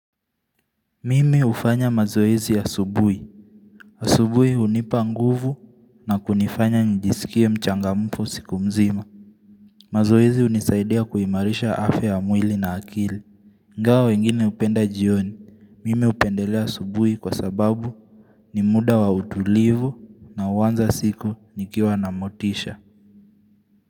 Mimi ufanya mazoezi asubuhi. Asubuhi unipa nguvu na kunifanya njisikie mchangamfu siku mzima. Mazoezi unisaidia kuimarisha afya ya mwili na akili. Ingao wengine upenda jioni. Mimi upendelea asubuhi kwa sababu ni muda wa utulivu na uanza siku nikiwa na motisha.